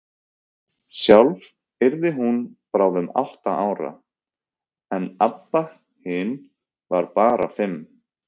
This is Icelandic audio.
Sjálf yrði hún bráðum átta ára, en Abba hin var bara fimm.